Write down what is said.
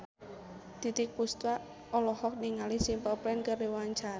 Titiek Puspa olohok ningali Simple Plan keur diwawancara